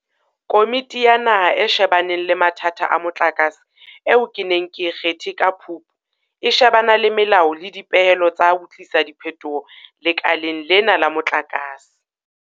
Komiti ya Naha e She baneng le Mathata a Motlakase eo ke neng ke e kgethe ka Phupu, e shebana le melao le dipehelo tsa ho tlisa diphetoho lekaleng lena la motlakase.